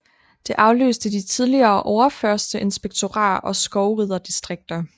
Det afløste de tidligere overførsterinspektorater og skovriderdistrikter